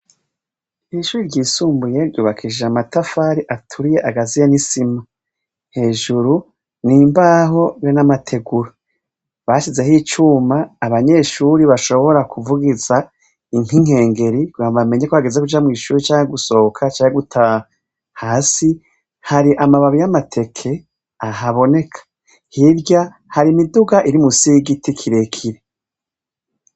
Ishure ryisumbuye ry'ubakishijwe n'amatafari aturiye agaziye n'isima. Hejuru n'imbaho be n'amategura. Basizeho icuma abanyeshure bashobora kuvugiza nk'inkengeri kagira bamenye ko hageze kuja mw'ishure canke gusohoka canke gutaha. Hasi har'amababi y'amateke ahaboneka. Hirya Har'imiduga irimusi y'igiti kirekire.